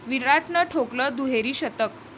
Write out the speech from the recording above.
विराटनं ठोकलं दुहेरी शतक